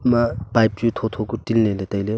ema pipe chu tho tho ku tinley ley tailey.